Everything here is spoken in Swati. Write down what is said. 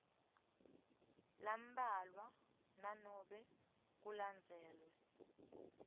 lambalwa nanobe kulandzelwe